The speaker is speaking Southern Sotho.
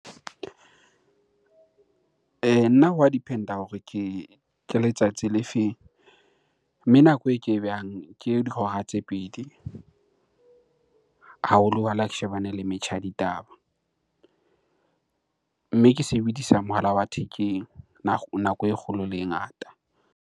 Nna wa depend-a hore ke letsatsi le feng? Mme nako e ke behang ke dihora tse pedi ha ke shebane le metjha ya ditaba. Mme ke sebedisa mohala wa thekeng nako e kgolo le e ngata.